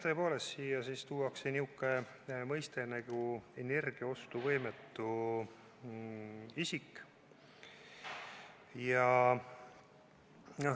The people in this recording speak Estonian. Jah, tõepoolest tuuakse siia niisugune mõiste nagu "energiaostuvõimetu isik".